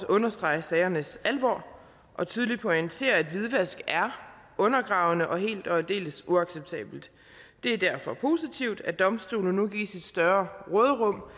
understrege sagernes alvor og tydeligt pointere at hvidvask er undergravende og helt og aldeles uacceptabelt det er derfor positivt at domstolene nu gives et større råderum